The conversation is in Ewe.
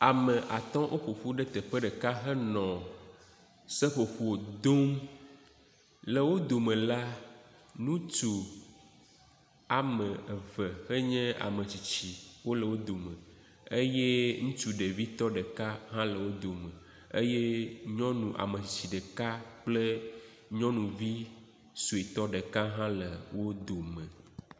Ame atɔ woƒoƒu ɖe teƒe ɖeka henɔ seƒoƒo dom. Le wo dome la ŋutsu wɔme eve henye ame tsitsi hele wo dome eye ŋutsu ɖevitɔ ɖeka hã le wo dome eye nyɔnu ame tsitsi ɖeka kple nyɔnuvi suetɔ ɖeka hã le wo dome.